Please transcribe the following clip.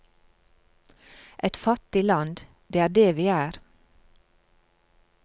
Et fattig land, det er det vi er.